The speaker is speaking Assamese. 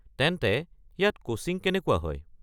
তেন্তে, ইয়াত কোচিং কেনেকুৱা হয়?